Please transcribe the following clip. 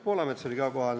Poolamets oli ka kohal.